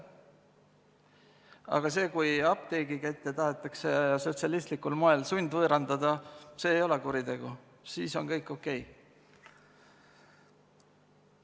Aga kui apteegikette tahetakse sotsialistlikul moel sundvõõrandada, siis see ei ole kuritegu, siis on kõik okei.